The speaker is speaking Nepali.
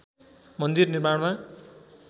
मन्दिर निर्माणमा